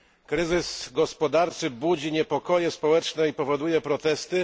Kryzys gospodarczy budzi niepokoje społeczne i powoduje protesty.